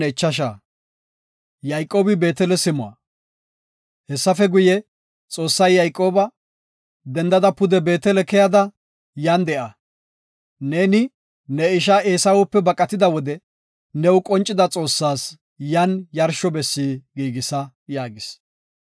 Hessafe guye Xoossay Yayqooba, “Dendada pude Beetele keyada yan de7a. Neeni ne isha Eesawepe baqatida wode new qoncida Xoossas yan yarsho bessi giigisa” yaagis.